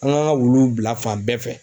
An ŋ'an ŋa wuluw bila fan bɛɛ fɛ.